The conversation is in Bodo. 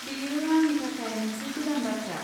बेयो आंनि थाखाय मोनसे गोदान बाथ्रा।